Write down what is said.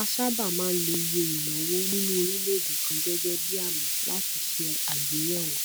a sábà máa ń lo iye ìnáwó nínú orílèèdè kan gẹgẹ bí àmì láti ṣe àgbéyèwò